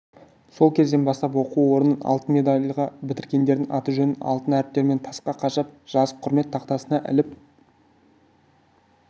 сол кезден бастап осы оқу орнын алтын медальға бітіргендердің аты-жөнін алтын әріптермен тасқа қашап жазып құрмет тақтасына іліп